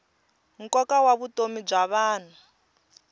nkoka wa vutomi bya vanhu